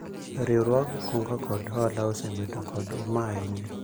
riwruog kungo kod hola osebedo kod uma ahinya